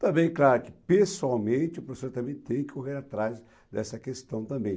Também, claro, que pessoalmente o professor também tem que correr atrás dessa questão também.